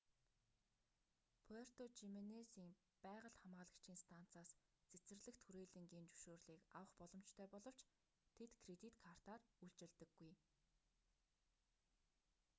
пуэрто жименезийн байгаль хамгаалагчийн станцаас цэцэрлэгт хүрээлэнгийн зөвшөөрлийг авах боломжтой боловч тэд кредит картаар үйлчилдэггүй